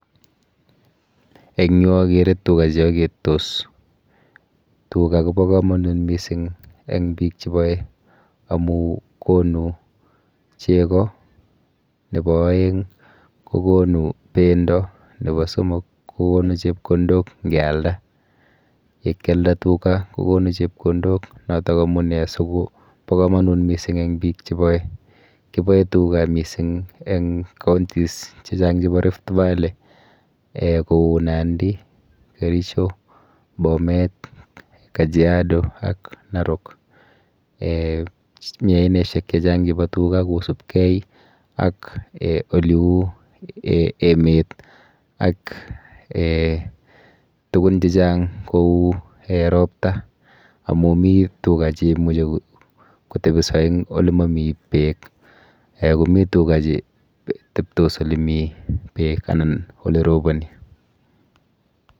Eng yu akere tuga cheaketos. Tuga kopo komonut mising eng biik cheboe amu konu cheko, nepo oeng kokonu bendo, nepo somok kokonu chepkondok ngealda . Yekyalda tuga kokonu chepkondok notok amune si kopo komonut mising eng biik chepoe. Kipoe tuga mising eng counties chechang chepo rifty valley um kou Nandi, Kericho, Bomet, Kajiado ak Narok. um Mi aineshek chechang chepo tuga kosubkei ak um oleu emet ak um tukun chechang kou [um]ropta amu mi tuga cheimuchi kotebiso eng olemomi beek um komi tuga cheteptos olemi beek anan oleroponi.